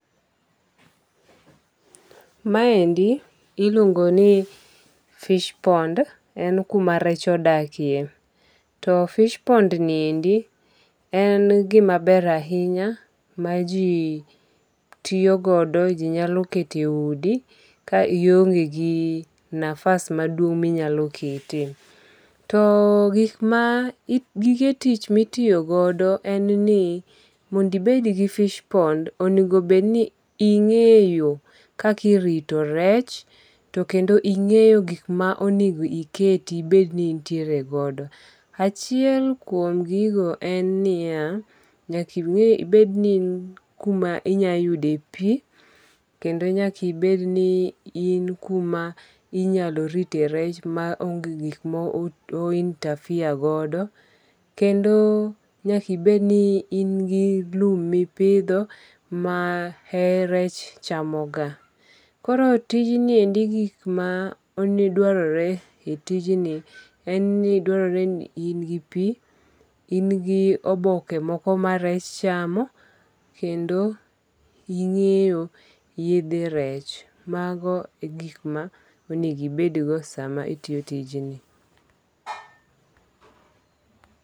Maendi iluongo ni fishpond, en kuma rech odakie to fishpond ni endi en gimaber ahinya ma ji tiyogodo jinyaloketo e udi ka ionge' gi nafas maduong' minyalo ketie, to gik maa gige tich ma itiyogodo en ni mondo ibed gi fishpond onigo bed ni onge'yo kakirito rech to kendo inge'yo gik ma oningo ibed , iket i bed ni nitiere godo achiel kuom gigo en niya, nyaka ibed ni in kuma inyalo yude pi, kendo nyaka ibed ni, in kuma inyalo ritoe rech ma onge gik ma o interfere godo, kendo nyaka ibed ni in gi lum mipitho ma e rech chamoga , koro tijni endi gi gik ma dwarore e tijni en ni dwarore ni in gi pi, in gi oboke moko ma rech chamo, kendo inge'yo yethe rech, mago e gik ma onedo ibedgo sama itiyo tijni